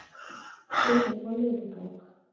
Sumir fá niðurgang.